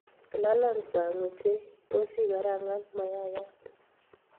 lalang saang ochei tos ikarangan mayayat